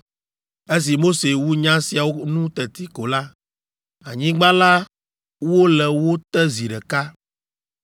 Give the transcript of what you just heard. Esi Mose wu nya siawo nu teti ko la, anyigba la wo le wo te zi ɖeka,